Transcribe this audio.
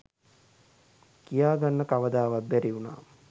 කියා ගන්න කවදාවත් බැරි උනා.